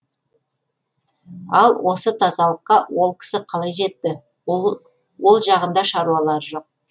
ал осы тазалыққа ол кісі қалай жетті ол жағында шаруалары жоқ